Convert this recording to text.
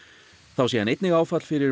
þá sé hann einnig áfall fyrir